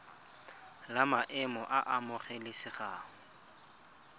la maemo a a amogelesegang